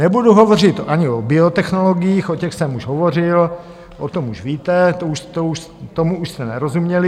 Nebudu hovořit ani o biotechnologiích, o těch jsem už hovořil, o tom už víte, tomu už jste nerozuměli.